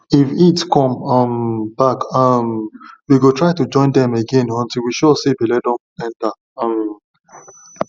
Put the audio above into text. if heat come um back um we go try to join dem again until we sure say belle don enter um